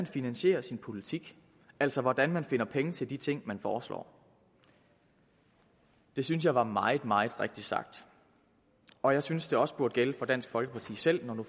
finansierer sin politik altså hvordan man finder penge til de ting man foreslår det synes jeg var meget meget rigtigt sagt og jeg synes det også burde gælde for dansk folkeparti selv når nu